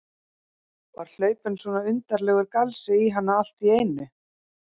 Var hlaupinn svona undarlegur galsi í hana allt í einu?